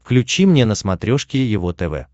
включи мне на смотрешке его тв